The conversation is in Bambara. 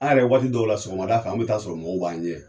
An yɛrɛ wagati dɔw la sɔgɔmada fɛ an be taa sɔrɔ mɔgɔw b'an ɲɛ yen